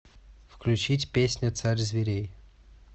включить песня царь зверей